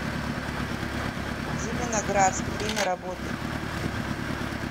зеленоградск время работы